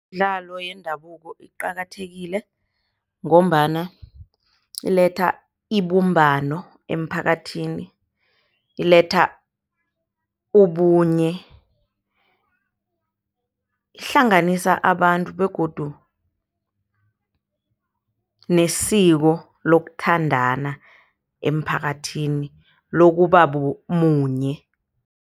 Imidlalo yendabuko iqakathekile ngombana iletha ibumbano emphakathini. Iletha ubunye, ihlanganisa abantu begodu nesiko lokuthandana emphakathini lokubamunye.